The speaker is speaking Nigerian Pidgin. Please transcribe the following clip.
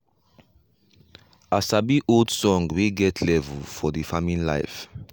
i sabi old song wey get level for the farming life.